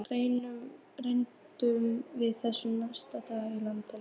Rerum við þessu næst aftur í land.